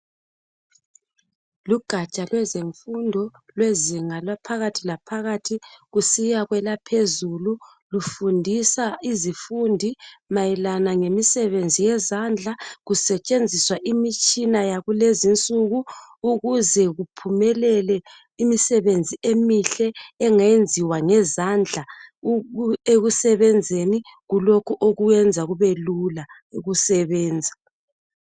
Lugaja lwezemfundo lwezinga laphakathi laphakathi kusiya lwelaphezulu lufundisa izifundi mayelana lemisebenzi yezandla kusetshenziswa imitshina yakulezi nsuku ukuze kuphumelele imisebenzi emihle engenziwa ngezandla ekusebenzeni kulokho okuyenza kubelula ukusebenza.